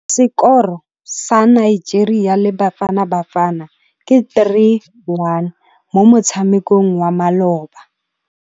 Sekôrô sa Nigeria le Bafanabafana ke 3-1 mo motshamekong wa malôba.